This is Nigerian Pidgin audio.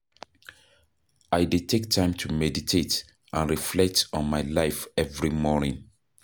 I dey take time to meditate and reflect on my life every morning.